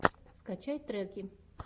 скачай треки